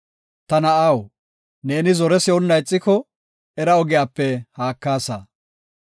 Ta na7aw, ne zore si7onna ixiko, era ogiyape haakaasa.